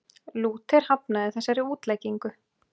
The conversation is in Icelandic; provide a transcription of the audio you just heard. Lúther hafnaði þessari útleggingu.